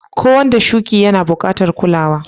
Ko wanda shuki yana bukatan kulawa.